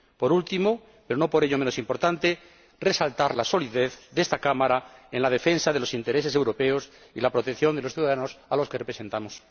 Por último, pero no por ello menos importante, quiero resaltar la solidez de esta Cámara en la defensa de los intereses europeos y la protección de los ciudadanos a los que representamos.